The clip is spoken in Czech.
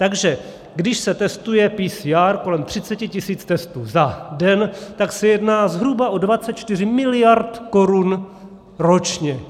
Takže když se testuje PCR kolem 30 tisíc testů za den, tak se jedná zhruba o 24 miliard korun ročně.